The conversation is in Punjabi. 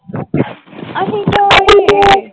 ਅਸੀਂ ਕਿਉਂ